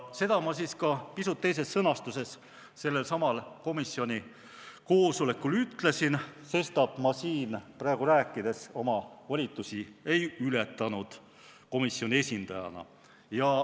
Seda ma pisut teises sõnastuses sellel samal komisjoni koosolekul ütlesin, sestap ma siin praegu rääkides komisjoni esindajana oma volitusi ei ületanud.